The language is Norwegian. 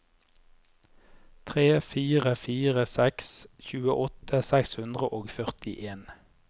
tre fire fire seks tjueåtte seks hundre og førtien